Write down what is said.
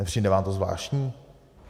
Nepřijde vám to zvláštní?